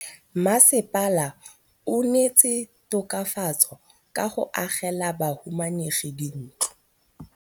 Mmasepala o neetse tokafatsô ka go agela bahumanegi dintlo.